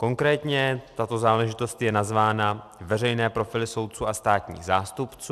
Konkrétně tato záležitost je nazvána veřejné profily soudců a státních zástupců.